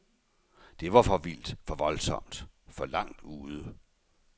Det var for vildt, for voldsomt, for langt ude.